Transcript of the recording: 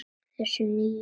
Þessa nýju.